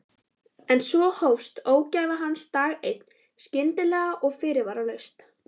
En svo hófst ógæfa hans dag einn, skyndilega og fyrirvaralaust.